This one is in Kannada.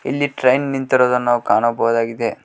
ಇಲ್ಲಿ ಟ್ರಾಕ್ ನಿಂತಿರುವುದನ್ನು ನಾವು ಕಾಣಬಹುದಾಗಿದೆ.